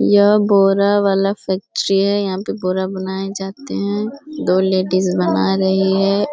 यह बोरा वाला फैक्ट्री है यहाँ पर बोरा बनाए जाते हैं दो लेडिस बना रही हैं